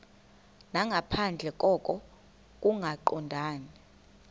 nangaphandle koko kungaqondani